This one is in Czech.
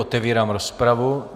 Otevírám rozpravu.